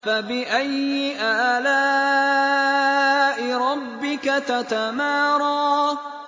فَبِأَيِّ آلَاءِ رَبِّكَ تَتَمَارَىٰ